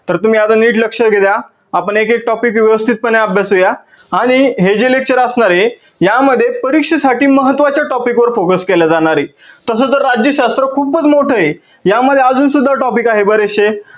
तर तुम्ही आता नीट लक्ष दया आपन एक एक topic व्यवस्थित पने अभ्यासुया आणि हे जे lecture असणार आहे या मध्ये परीक्षेसाठी महत्वाच्या topic वर focus केल्या जाणार आहे. तसे तर राज्यशास्त्र खूपच मोठे आहे यामध्ये अजून सुद्धा topic आहे बरेचशे